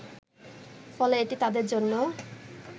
ফলে এটি তাদের জন্য